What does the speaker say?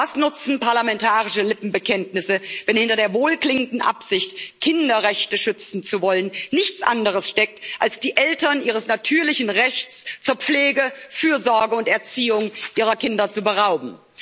Was nutzen parlamentarische Lippenbekenntnisse, wenn hinter der wohlklingenden Absicht, Kinderrechte schützen zu wollen, nichts anderes steckt, als die Eltern ihres natürlichen Rechts zur Pflege, Fürsorge und Erziehung ihrer Kinder zu berauben?